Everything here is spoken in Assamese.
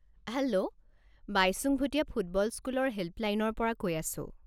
হেল্ল', বাইচুং ভুটীয়া ফুটবল স্কুলৰ হেল্পলাইনৰ পৰা কৈ আছোঁ।